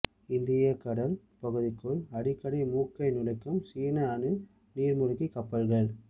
இந்தியக் கடல் பகுதிக்குள் அடிக்கடி மூக்கை நுழைக்கும் சீன அணு நீர்மூழ்கிக் கப்பல்கள்